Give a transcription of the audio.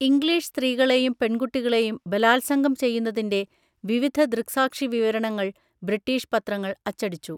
English സ്ത്രീകളെയും പെൺകുട്ടികളെയും ബലാത്സംഗം ചെയ്യുന്നതിന്‍റെ വിവിധ ദൃക്‌സാക്ഷിവിവരണങ്ങൾ ബ്രിട്ടീഷ് പത്രങ്ങൾ അച്ചടിച്ചു.